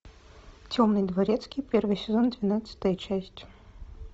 темный дворецкий первый сезон двенадцатая часть